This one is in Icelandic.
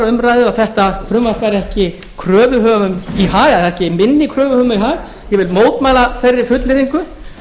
umræðu að þetta frumvarp væri ekki kröfuhöfum í hag eða ekki minni kröfuhöfum í hag ég vil mótmæla þeirri fullyrðingu